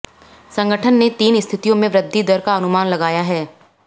संगठन ने तीन स्थितियों में वृद्धि दर का अनुमान लगाया है